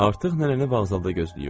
Artıq nənəni vağzalda gözləyirdilər.